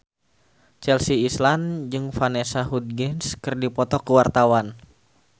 Chelsea Islan jeung Vanessa Hudgens keur dipoto ku wartawan